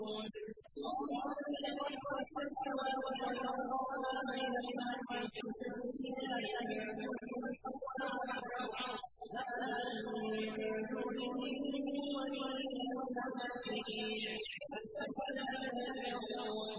اللَّهُ الَّذِي خَلَقَ السَّمَاوَاتِ وَالْأَرْضَ وَمَا بَيْنَهُمَا فِي سِتَّةِ أَيَّامٍ ثُمَّ اسْتَوَىٰ عَلَى الْعَرْشِ ۖ مَا لَكُم مِّن دُونِهِ مِن وَلِيٍّ وَلَا شَفِيعٍ ۚ أَفَلَا تَتَذَكَّرُونَ